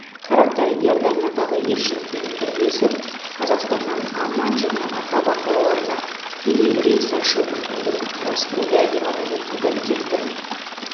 тараптар иорданиядағы елшілікпен бірлесіп қазақстаннан амман және акаба қалаларына тікелей рейс ашу мүмкіндігін қарастыруды деп атап өтті комитеттен